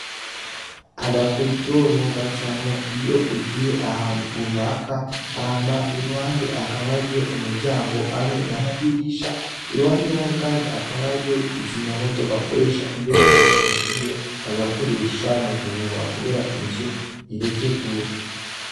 Aga koridoro bacamwo iyo ugiye ahantu runaka hama iruhande hakaba hariho umuryango hamwe n'amadirisha, iruhande yaho kandi hakaba hariyo ikizimyamoto bakoresha iyo inzu ihiye bagakoresha muguhuha kubera inzu ireke gusha.